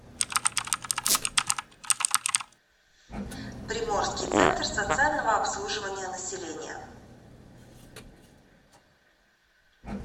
приморский центр социального обслуживания населения